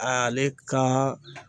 Aale kaa